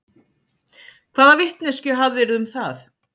Hvaða vitneskju hafðirðu um það?